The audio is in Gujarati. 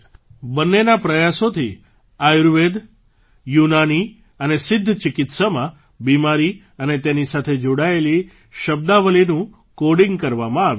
બંનેના પ્રયાસોથી આયુર્વેદ યુનાની અને સિદ્ધ ચિકિત્સામાં બીમારી અને તેની સાથે જોડાયેલી શબ્દાવલીનું કૉડિંગ કરવામાં આવ્યું છે